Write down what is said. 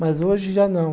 Mas hoje já não.